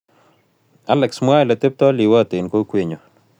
Alex mwaa ole tepto liwoot eng' kokwenyon